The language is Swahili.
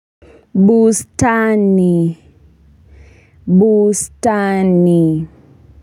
Bustani bustani.